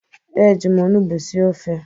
Eji m onugbu sie ofe